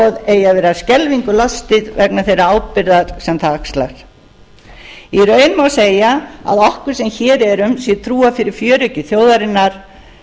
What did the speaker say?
eigi að vera skelfingu lostið vegna þeirrar ábyrgðar sem það axlar í raun má segja að okkur sem hér erum sé trúað fyrir fjöreggi þjóðarinnar